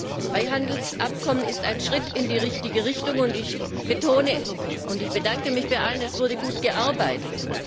Das Freihandelsabkommen ist ein Schritt in die richtige Richtung, und ich bedanke mich bei allen und betone Es wurde gut gearbeitet.